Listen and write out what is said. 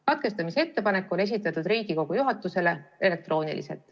Katkestamisettepanek on esitatud Riigikogu juhatusele elektrooniliselt.